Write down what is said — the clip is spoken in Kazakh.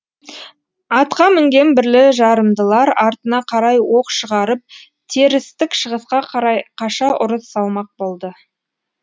атқа мінген бірлі жарымдылар артына қарай оқ шығарып терістік шығысқа қарай қаша ұрыс салмақ болды